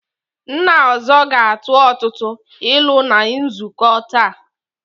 Nna ọzọ ga-atụ ọtụtụ ilu na nzukọ taa.